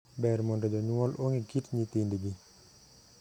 Ber mondo jonyuol ong'e kit nyithindgi.